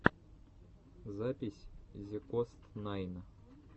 запись зекостнайн